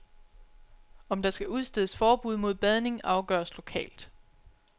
Om der skal udstedes forbud mod badning afgøres lokalt.